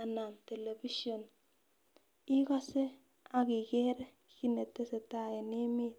anan television ikose akikrre kit netesetai en emet.